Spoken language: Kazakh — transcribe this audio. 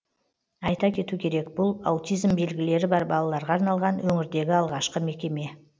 айта кету керек бұл аутизм белгілері бар балаларға арналған өңірдегі алғашқы мекеме